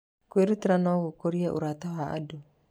Kwĩrutĩra no gũkũrie ũrata wa andũ.